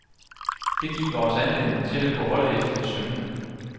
Det giver os anledning til at gå holdet efter i sømmene.